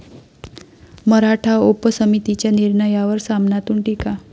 मराठा उपसमितीच्या निर्णयावर 'सामना'तून टीका!